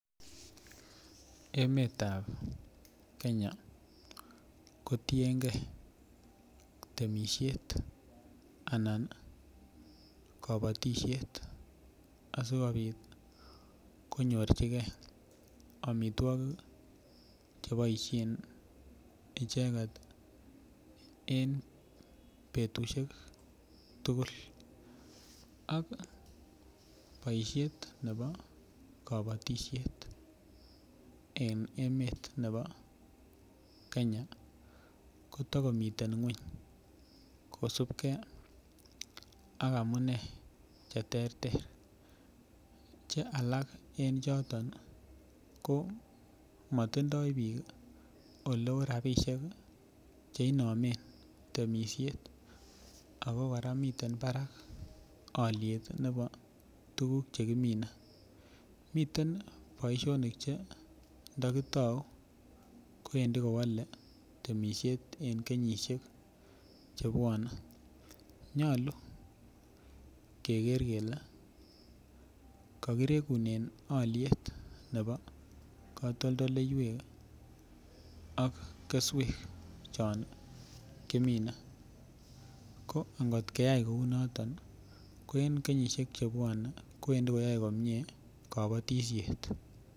Emetab kenya kotiengee temisiet anan kabatisiet asikobit konyorchike amitwogik cheboisien icheket ii en betusiek tugul ak boisiet nebo kabatisiet en emet ne bo kenya kotokomiten ngweny kosipge ak amunee cheterter che alak en choton koo motindoo biik oleo rapisiek ii cheinomen temisiet ako kora miten barak alyet ne bo tuguk chekiminee, miten boisionik che ndokitau kowendi kowale temisiet en kenyisiek chebwonee nyolu keker kele kokirekunen alyet ne bo katoltoleiwek ak keswek chon kimine ko angot keyai kou noton ii koo en kenyisiek chebwonee kwendi koyoe komie kabatisiet.